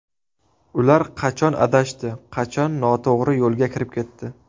Ular qachon adashdi, qachon noto‘g‘ri yo‘lga kirib ketdi?